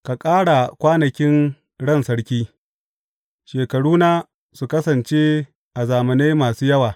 Ka ƙara kwanakin ran sarki, shekarunsa su kasance a zamanai masu yawa.